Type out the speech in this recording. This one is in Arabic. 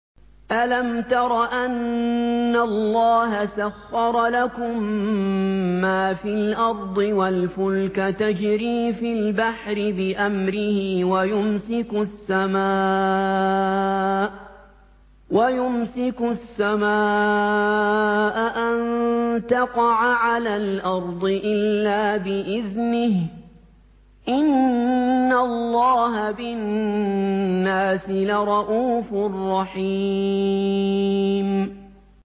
أَلَمْ تَرَ أَنَّ اللَّهَ سَخَّرَ لَكُم مَّا فِي الْأَرْضِ وَالْفُلْكَ تَجْرِي فِي الْبَحْرِ بِأَمْرِهِ وَيُمْسِكُ السَّمَاءَ أَن تَقَعَ عَلَى الْأَرْضِ إِلَّا بِإِذْنِهِ ۗ إِنَّ اللَّهَ بِالنَّاسِ لَرَءُوفٌ رَّحِيمٌ